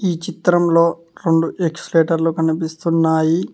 ఈ చిత్రంలో రెండు ఎక్స్ లెటర్లు కనిపిస్తున్నాయి.